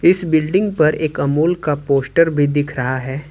इस बिल्डिंग पर एक अमूल का पोस्टर भी दिख रहा है।